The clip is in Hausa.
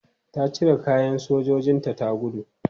Ta cire kayan sojojinta ta gudu.